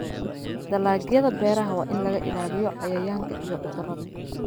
Dalagyada beeraha waa in laga ilaaliyo cayayaanka iyo cudurrada.